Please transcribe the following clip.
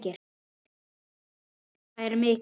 Missir þeirra er mikill.